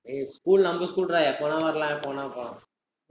ஏய் school நம்ம school டா, எப்போ வேணா வரலாம், எப்ப வேணா போலாம்.